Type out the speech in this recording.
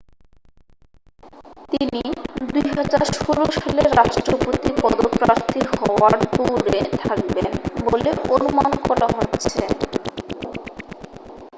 তিনি 2016 সালের রাষ্ট্রপতি পদপ্রার্থী হওয়ার দৌড়ে থাকবেন বলে অনুমান করা হচ্ছে